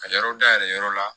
Ka yɔrɔ dayɛlɛ yɔrɔ la